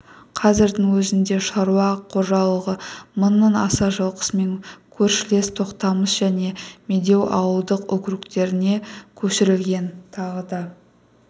қазірдің өзінде шаруа қожалығы мыңнан аса жылқысымен көршілес тоқтамыс және медеу ауылдық округтеріне көшірілген тағы да